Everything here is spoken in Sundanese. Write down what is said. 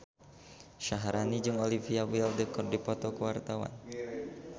Syaharani jeung Olivia Wilde keur dipoto ku wartawan